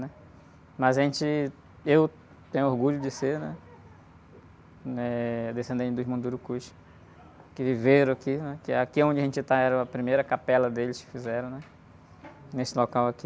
Né? Mas a gente, eu tenho orgulho de ser, né, eh, descendente dos Mundurucus, que viveram aqui, né, que aqui onde a gente tá era a primeira capela deles, que fizeram, né, nesse local aqui.